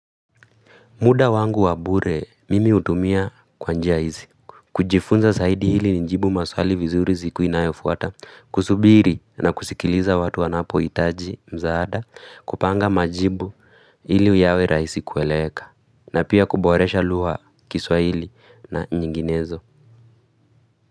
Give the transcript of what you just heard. Muda wangu wa bure mimi hutumia kwa njia hizi, kujifunza zaidi ili nijibu maswali vizuri siku inayofuata, kusubiri na kusikiliza watu wanapohitaji msaada, kupanga majibu ili yawe rahisi kueleweka, na pia kuboresha lugha kiswahili na nyinginezo.